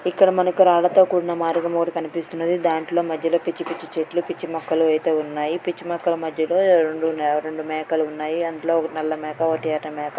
ఇక్కడ మనకి రాళ్లతో కూడిన మార్గం ఒకటి కనిపిస్తుంది .దాంట్లో మధ్యలో పిచ్చిపిచ్చి చెట్లు పిచ్చి మొక్కలు అయితే ఉన్నాయి. పిచ్చి మొక్కల మధ్యలో రెండు_ రెండు మేకలు ఉన్నాయి. అందులో ఒకటి నల్ల మేక ఒకటి ఎర్ర మేక.